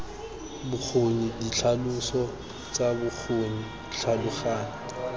bokgoni ditlhaloso tsa bokgoni tlhaloganya